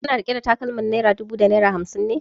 Kana riƙe da takalmar naira dubu da naira hamsin ne?